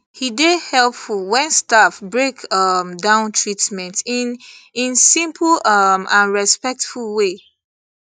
e dey helpful when staff break um down treatment in in simple um and respectful way